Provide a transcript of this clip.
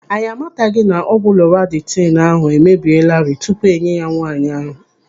Anyị amataghị na ọgwụ lọratidinu ahụ emebieelarị tupu enye ya nwaanyị ahụ.